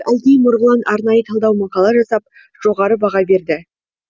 әлкей марғұлан арнайы талдау мақала жазып жоғары баға берді